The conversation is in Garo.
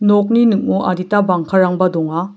nokni ning·o adita bangkarangba donga.